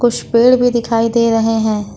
पेड़ भी दिखाई दे रहे हैं।